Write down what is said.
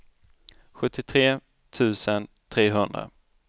sjuttiotre tusen trehundra